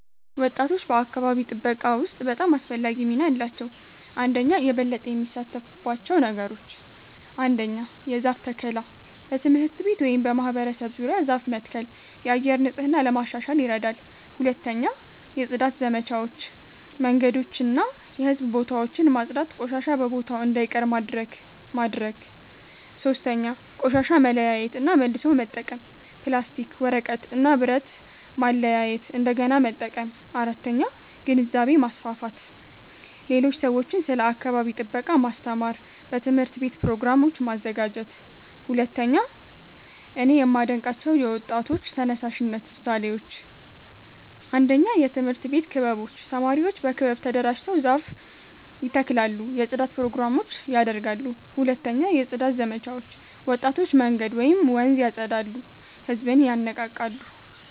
ወጣቶች በአካባቢ ጥበቃ ውስጥ በጣም አስፈላጊ ሚና አላቸው። 1)የበለጠ የሚሳተፉባቸው ነገሮች ? 1. የዛፍ ተከላ በትምህርት ቤት ወይም በማህበረሰብ ዙሪያ ዛፍ መትከል የአየር ንጽህና ለማሻሻል ይረዳል 2. የጽዳት ዘመቻዎች መንገዶችን እና የህዝብ ቦታዎችን ማጽዳት ቆሻሻ በቦታው እንዳይቀር ማድረግ ማድረግ 3. ቆሻሻ መለያየት እና መልሶ መጠቀም ፕላስቲክ፣ ወረቀት እና ብረት ማለያየት እንደገና መጠቀም 4. ግንዛቤ ማስፋፋት ሌሎች ሰዎችን ስለ አካባቢ ጥበቃ ማስተማር በትምህርት ቤት ፕሮግራሞች ማዘጋጀት 2)እኔ የማዴንቃቸው የወጣቶች ተነሳሽነት ምሳሌዎች 1 የትምህርት ቤት ክበቦች ተማሪዎች በክበብ ተደራጅተው ዛፍ ይተክላሉ የጽዳት ፕሮግራሞች ያደርጋሉ 2 የጽዳት ዘመቻዎች ወጣቶች መንገድ ወይም ወንዝ ያፀዳሉ ህዝብን ይነቃቃሉ